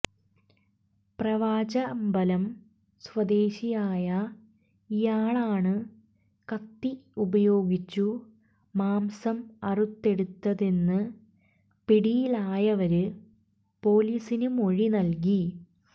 പ്രാവച്ചമ്പലം സ്വദേശിയായ ഇയാളാണു കത്തി ഉപയോഗിച്ചു മാംസം അറുത്തെടുത്തതെന്ന് പിടിയിലായവര് പൊലീസിനു മൊഴി നല്കി